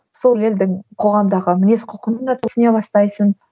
сол елдің қоғамдағы мінез құлқын да түсіне бастайсың